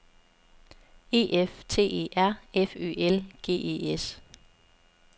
E F T E R F Ø L G E S